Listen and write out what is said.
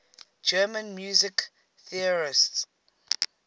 german music theorists